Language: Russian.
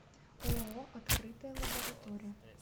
ооо открытая лаборатория